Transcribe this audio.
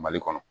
Mali kɔnɔ